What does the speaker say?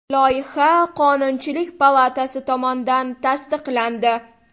Loyiha Qonunchilik palatasi tomonidan tasdiqlandi.